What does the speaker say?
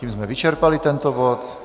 Tím jsme vyčerpali tento bod.